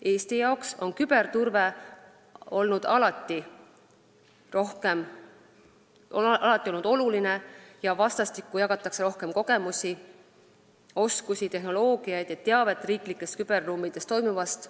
Eesti jaoks on küberturve olnud alati oluline ning vastastikku jagatakse rohkem kogemusi, oskusi, tehnoloogiat ja teavet riiklikes küberruumides toimuvast.